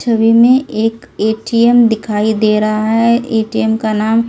छवि में एक ए_टी_एम दिखाई दे रहा है ए_टी_एम का नाम इ।